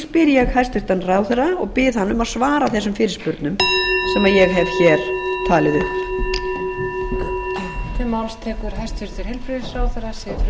spyr ég hæstvirtan ráðherra og bið hann um að svara þessum fyrirspurnum sem ég hef hér talið upp